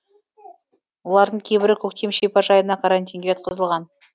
олардың кейбірі көктем шипажайына карантинге жатқызылған